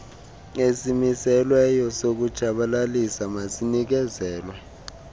esimiselweyo sokutshabalalisa masinikezelwe